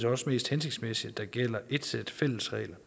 også mest hensigtmæssigt at der gælder et sæt fælles regler